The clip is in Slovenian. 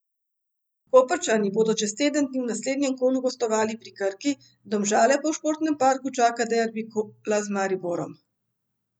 Koprčani bodo čez teden dni v naslednjem kolu gostovali pri Krki, Domžale pa v Športnem parku čaka derbi kola z Mariborom.